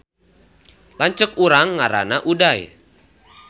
Lanceuk urang ngaranna Uday